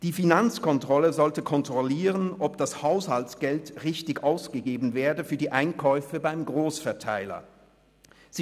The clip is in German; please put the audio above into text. Die Finanzkontrolle sollte kontrollieren, ob das Haushaltsgeld für die Einkäufe beim Grossverteiler richtig ausgegeben wird.